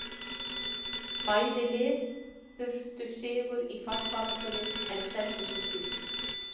Bæði lið þurftu sigur í fallbaráttunni og seldu sig dýrt.